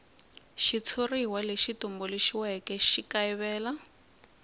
xitshuriwa lexi tumbuluxiweke xi kayivela